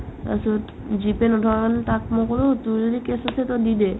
তাৰপিছত G pay নথকা কাৰণে তাক মই ক'লো তুমি যে cash payment ত দি দে